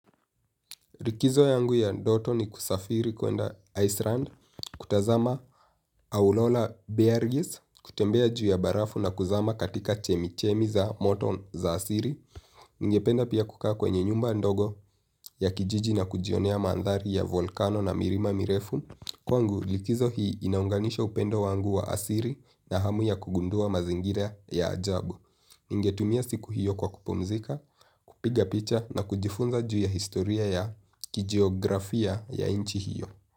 Likizo yangu ya ndoto ni kusafiri kuenda Iceland, kutazama aurora bergis, kutembea juu ya barafu na kuzama katika chemichemi za moto za asili. Ningependa pia kukaa kwenye nyumba ndogo ya kijiji na kujionea mandhari ya volkano na milima mirefu. Kwangu, likizo hii inaunganisha upendo wangu wa asili na hamu ya kugundua mazingira ya ajabu. Ningetumia siku hiyo kwa kupumzika, kupiga picha na kujifunza juu ya historia ya kijiografia ya nchi hiyo.